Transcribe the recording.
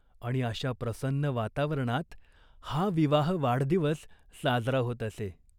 आणि अशा प्रसन्न वातावरणात हा विवाह वाढदिवस साजरा होत असे.